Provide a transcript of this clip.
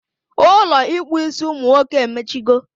Ụlọ ịkpụ isi umunwoke emechigo